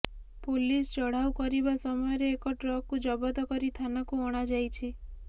police ଚଢ଼ାଉ କରିବା ସମୟରେ ଏକ ଟ୍ରକ କୁ ଜବତ କରି ଥାନାକୁ ଅଣାଯାଇଛି